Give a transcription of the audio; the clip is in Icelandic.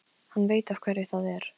Hann veit af hverju það er.